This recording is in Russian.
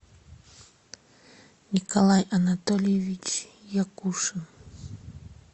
николай анатольевич якушин